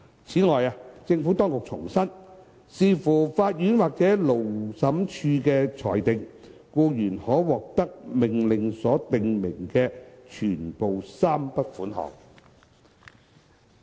此外，政府當局重申，視乎法院或勞審處的裁定，僱員可獲得命令所訂明的全部3筆款項。